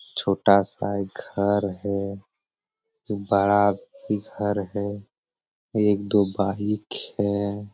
छोटा सा एक घर है बड़ा भी घर है एक दो है।